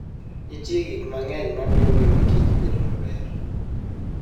Nitie gik mang'eny mamiyo ngima Kich bedo maber.